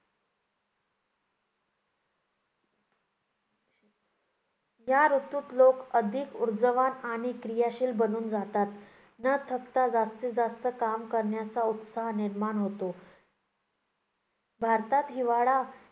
या ऋतूत लोक अधिक ऊर्जावान आणि क्रियाशील बनून जातात. न थकता जास्तीत जास्त काम करण्याचा उत्साह निर्माण होतो. भारतात हिवाळा